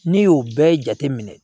N'i y'o bɛɛ jateminɛ